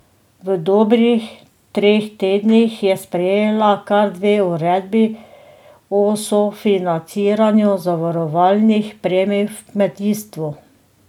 V dobrih treh tednih je sprejela kar dve uredbi o sofinanciranju zavarovalnih premij v kmetijstvu.